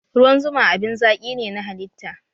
Ruwan zuma abin zaki ne na halitta